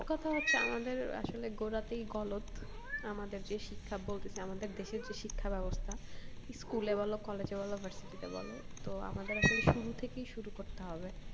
মোট কথা হচ্ছে আমাদের আসলে গোড়াতেই গলদ, আমাদের যে শিক্ষা বলতেছি আমাদের দেশের যে শিক্ষা ব্যবস্থা school এ বলো college এ বলো varsity তে বলো তো আমাদের আসলে শুরু থেকেই শুরু করতে হবে।